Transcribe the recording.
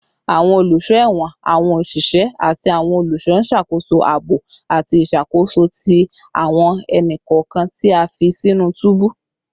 Awọn oluso ẹwọn, awọn oṣiṣẹ, ati awọn oluṣọ n ṣakoso aabo ati iṣakoso ti awọn ẹni-kọọkan ti a fi sinu tubu